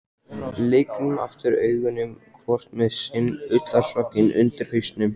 Lygnum aftur augunum, hvort með sinn ullarsokkinn undir hausnum.